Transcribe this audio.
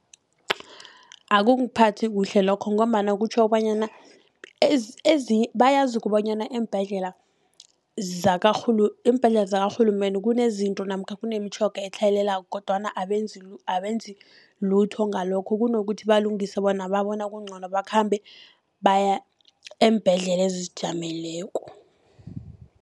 Akungiphathi kuhle lokho, ngombana kutjho kobanyana bayazi kobanyana eembhedlela eembhedlela zakarhulumende kunezinto namkha kunemitjhoga etlhayelako, kodwana abenzi lutho ngalokho. Kunokuthi balungise, bona babona kuncono bakhambe baya eembhedlela ezizijameleko.